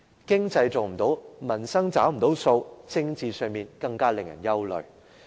經濟做不好，民生又無法"找數"，而在政治上，更是使人憂慮的。